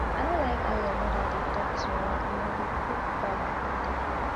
i no like how your mother dey talk to me and i go talk back one day